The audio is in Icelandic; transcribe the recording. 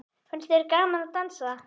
Finnst þér gaman að dansa?